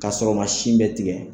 K'a sɔrɔ o ma sin bɛɛ tigɛ.